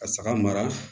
Ka saga mara